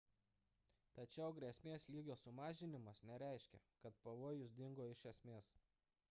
tačiau grėsmės lygio sumažinimas nereiškia kad pavojus dingo iš esmės